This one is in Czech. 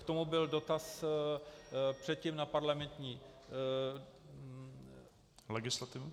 K tomu byl dotaz předtím na parlamentní legislativu.